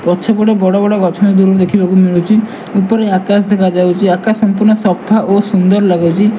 ପଛପଟେ ବଡ଼ବଡ଼ ଗଛ ଦୂରୁରୁ ଦେଖିବାକୁ ମିଳୁଚି ଉପରେ ଆକାଶ ଦେଖାଯାଉଚି ଆକାଶ ସମ୍ପୃର୍ଣ୍ଣ ସଫା ଓ ସୁନ୍ଦର୍ ଲାଗୁଚି ।